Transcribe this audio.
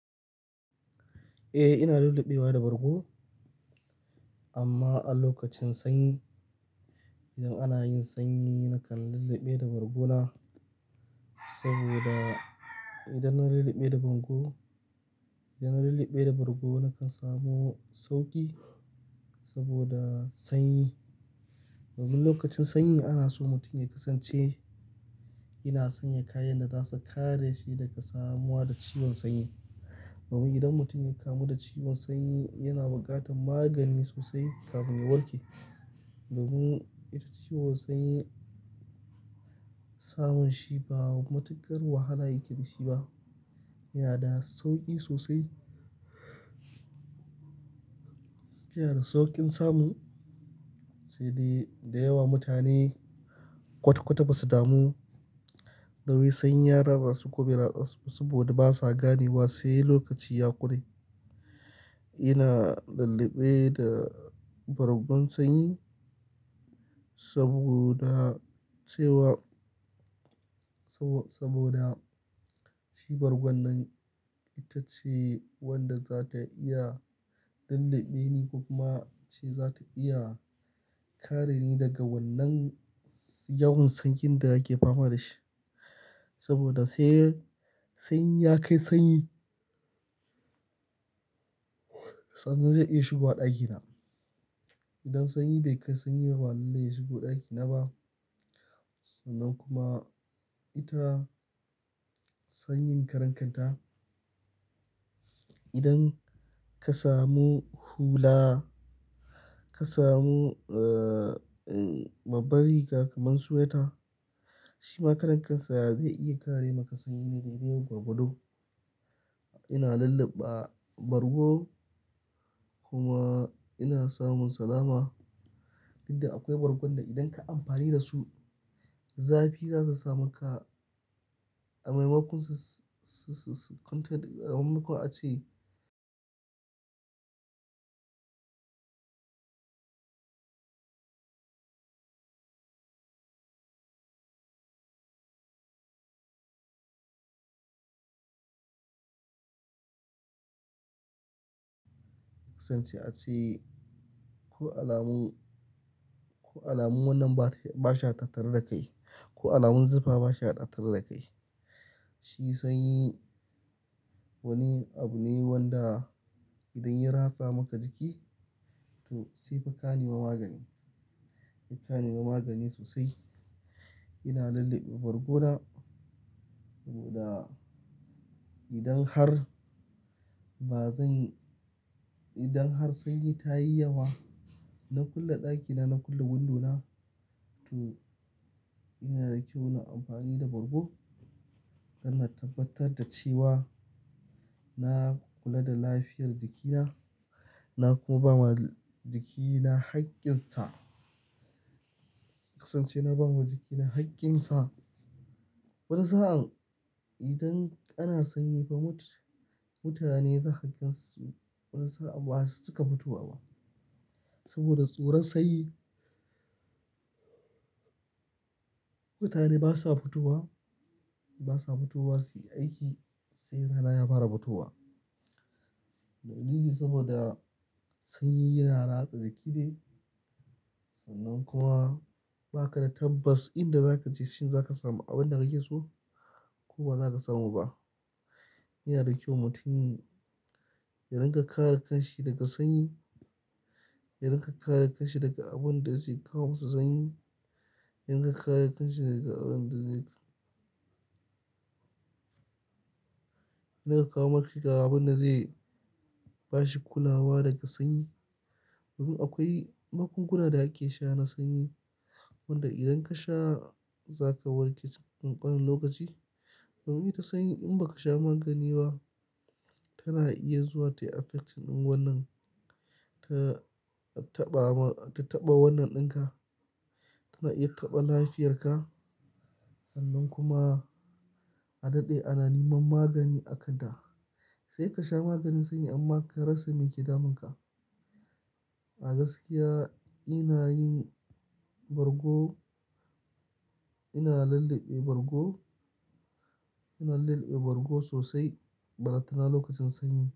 Eh, ina lulluɓewa da bargo amma a lokacin sanyi, idan ana yin sanyi nakan lulluɓe da bargo na. Saboda idan na lulluɓe da bargo, idan na lulluɓe da bargo nakan samu sauƙi saboda sanyi. Domin lokacin sanyi ana so mutum ya kasance yana sanya kayan da za su kare shi daga samuwa da ciwon sanyi. Domin idan mutum ya kamu da ciwon sanyi yana buƙatar magani sosai kafin ya warke. Domin ita ciwon sanyi samun shi ba matuƙar wahala yake da shi ba, yana da sauƙi sosai. Yana da sauƙin samun, sai dai da yawa mutane kwata-kwata ba su damu da wai sanyi ya ratsasu ko bai ratsasu ba saboda basa gane wa sai lokaci ya ƙure. Ina lulluɓe da bargon sanyi saboda cewa, sabo-saboda shi bargon nan itace wanda za ta iya lulluɓe ni ko kuma ce za ta iya kare ni daga wannan yawan sanyin da ake fama da shi. Saboda sai, sanyi ya kai sanyi, sannan zai iya shigowa ɗakina. Idan sanyi bai kai sanyi ba ba lallai ya shigo ɗakina ba. Sannan kuma ita sanyin karen kanta. Idan ka samu hula, ka samu, eh, babbar riga kamar sweater, shi ma karen kansa zai iya kare maka sanyi na dai-dai gwargwado. Ina lulluɓa bargo kuma ina samun salama. Inda akwai bargon da idan ka amfani da su zafi za su sami ka. A maimakon su, su, su, a maimakon a ce kasance a ce ko alamun, ko alamun wannan ba shi, ba shi ya tattaru da kai, ko alamun zufa ba shi ya tattaru da kai. Shi sanyi wani abu ne wanda idan ya ratsa maka jiki to sai fa ka nema magani, ka nema magani sosai. Ina lulluɓe bargo na saboda idan har bazan, idan har sanyi ta yi yawa na kulle ɗakina, na kulle windona to ina da kyau na amfani da bargo. Don na tabbatar da cewa na kula da lafiyar jikina, na kuma ba wa jikina haƙƙin ta. Kasance na ba ma jikina haƙƙinsa. Wani sa'an idan ana sanyi fa mutum, mutane zaka ga su wani sa'a ba su cika fitowa ba. Saboda tsoron sanyi. Mutane basa fitowa, basa fitowa su yi aiki sai rana ya fara fitowa. Dalili saboda sanyi yana ratsa jiki ne sannan kuma ba ka da tabbas inda za ka je shin za ka samu abin da kake so ko ba za ka samu ba. Yana da kyau mutum ya rinƙa kare kanshi daga sanyi, ya rinƙa kare kanshi daga abin da zai kawo masa sanyi, ya rinƙa kare kanshi daga abin da zai na ya kawo mashi abin da zai ba shi kulawa daga sanyi. Domin akwai magunguna da ake sha na sanyi wanda idan ka sha za ka warke cikin ƙanƙanin lokaci. Domin ita sanyi in ba ka sha magani ba tana iya zuwa tayi affecting wannan, ta taɓa ma, ta taɓa wannan ɗinka, tana iya taɓa lafiyarka sannan kuma a daɗe ana neman magani aka da. Sai ka sha maganin sanyi amma karasa meke damunka. A gaskiya ina yin bargo, ina lulluɓe bargo, ina lulluɓe bargo sosai balantana lokacin sanyi.